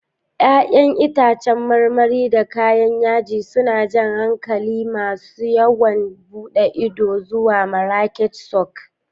Ya'yan itãcen marmari da kayan yaji suna jan hankalin masu yawon bude ido zuwa Marrakech Souk.